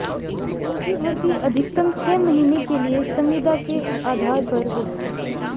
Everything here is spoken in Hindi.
उनकी भर्ती अधिकतम छह महीने के लिए संविदा के आधार पर होगी